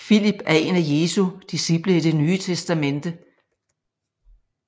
Filip er en af Jesu disciple i Det Nye Testamente